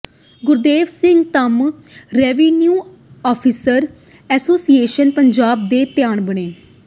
Gurdev Singh Dhamm revenue officers association Punjab ਦੇ ਪ੍ਰਧਾਨ ਬਣੇ